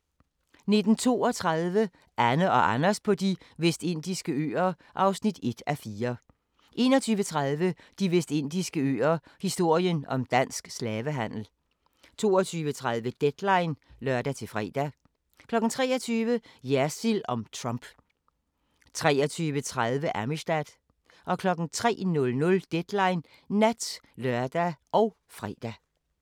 19:32: Anne & Anders på De Vestindiske Øer (1:4) 21:30: De Vestindiske Øer - historien om dansk slavehandel 22:30: Deadline (lør-fre) 23:00: Jersild om Trump 23:30: Amistad 03:00: Deadline Nat (lør og fre)